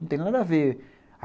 Não tem nada a ver.